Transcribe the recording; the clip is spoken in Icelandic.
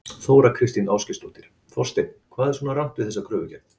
Þóra Kristín Ásgeirsdóttir: Þorsteinn hvað er svona rangt við þessa kröfugerð?